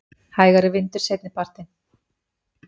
Hægari vindur seinnipartinn